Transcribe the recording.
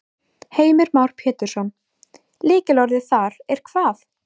Heimir Már Pétursson: Lykilorðið þar er hvað?